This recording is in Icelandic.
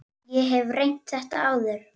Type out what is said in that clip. Ég hef reynt þetta áður.